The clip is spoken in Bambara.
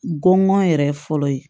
Gɔngɔn yɛrɛ fɔlɔ ye